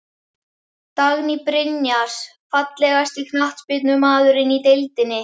Dagný Brynjars Fallegasti knattspyrnumaðurinn í deildinni?